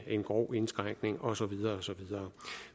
en grov indskrænkning og så videre